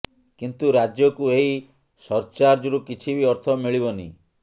କିନ୍ତୁ ରାଜ୍ୟକୁ ଏହି ସରଚାର୍ଜରୁ କିଛି ବି ଅର୍ଥ ମିଳିବନି